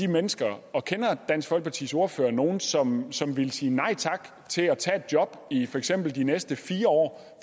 mennesker og kender dansk folkepartis ordfører nogen som som ville sige nej tak til at tage et job i for eksempel de næste fire år